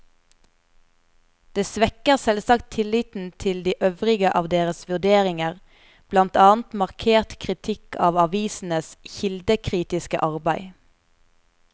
Det svekker selvsagt tilliten til de øvrige av deres vurderinger, blant annet markert kritikk av avisenes kildekritiske arbeid.